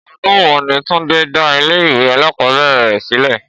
Ọdún wo ni Túndé dá ilé ìwé alákòóbèrè rẹ̀ sílẹ̀?